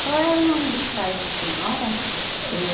Qual era o nome dos pais da senhora? Eh